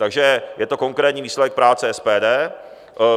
Takže to je konkrétní výsledek práce SPD.